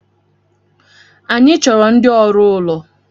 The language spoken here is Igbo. Anyi chọrọ ndi ọrụ ụlọ